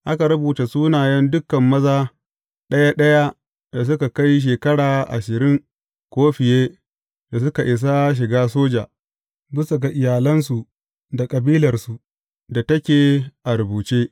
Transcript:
Aka rubuta sunayen dukan maza ɗaya ɗaya da suka kai shekara ashirin ko fiye da suka isa shiga soja, bisa ga iyalansu da kabilarsu da take a rubuce.